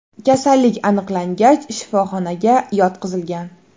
Kasallik aniqlangach shifoxonaga yotqizilgan.